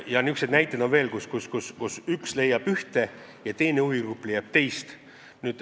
Niisuguseid näiteid on veel, et üks huvigrupp leiab ühte ja teine huvigrupp leiab teist.